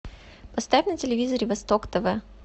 поставь на телевизоре восток тв